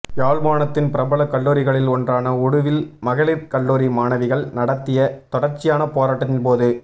யாழ்ப்பாணத்தின் பிரபல கல்லூரிகளில் ஒன்றான உடுவில் மகளிர் கல்லூரி மாணவிகள் நடாத்திய தொடர்ச்சியான போராட்டத்தின் போது